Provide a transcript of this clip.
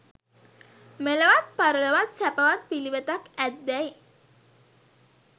මෙලොවත් පරලොවත් සැපවත් පිළිවෙතක් ඇත්දැයි